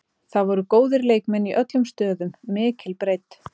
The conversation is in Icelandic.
Það voru góðir leikmenn í öllum stöðum, mikil breidd.